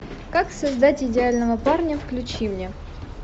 как создать идеального парня включи мне